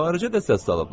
Xaricə də səs salıblar.